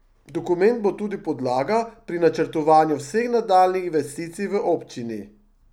Dokument bo tudi podlaga pri načrtovanju vseh nadaljnjih investicij v občini.